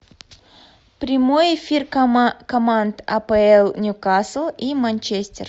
прямой эфир команд апл ньюкасл и манчестер